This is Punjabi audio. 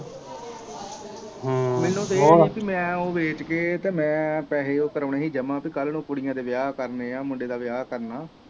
ਮੈਨੂੰ ਤੇ ਇਹ ਹੀ ਪੀ ਮੈ ਉਹ ਵੇਚ ਕੇ ਤੇ ਮੈ ਪੈਸੇ ਉਹ ਕਰਾਉਣੇ ਹੀ ਜਮਾ ਪੀ ਕਲ ਨੂੰ ਕੁੜੀਆਂ ਦੇ ਵਿਆਹ ਕਰਨੇ ਆ ਮੁੰਡੇ ਦਾ ਵਿਆਹ ਕਰਨਾ।